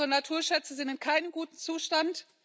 Unsere Naturschätze sind in keinem guten Zustand.